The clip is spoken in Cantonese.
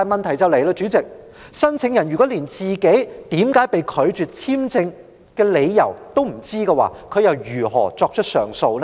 代理主席，如果申請人不知道自己為甚麼被拒發簽證，他又如何提出上訴？